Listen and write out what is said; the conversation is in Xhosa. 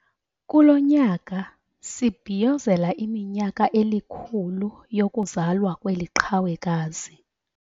Kulo nyaka sibhiyozela iminyaka elikhulu yokuzalwa kweli qhawekazi.